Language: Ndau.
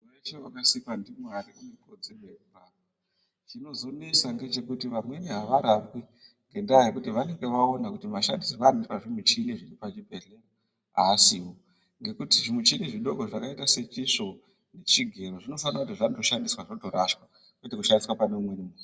Muntu weshe wakasikwa ndiMwari unekodzero yekurapwa chinozenesa ngechekuti vamweni avarapwi ngendaya yekuti vanenge vaona kuti mashandisirwo anoitwa zvimuchini zviri pachibhedhleya aasiwo ngekuti zvimuchini zvidoko zvakaita sechisvo nechigero zvonofanira kuti zvatoshandiswa zvotorashwa kwete kushandiswa paneumweni muntu.